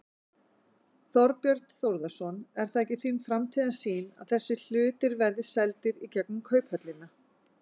Þorbjörn Þórðarson: Er það ekki þín framtíðarsýn að þessi hlutir verði seldir í gegnum Kauphöllina?